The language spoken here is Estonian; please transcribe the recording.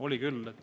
Oli küll!